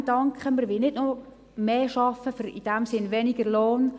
Nein danke, wir wollen nicht noch mehr arbeiten für – in diesem Sinne – weniger Lohn.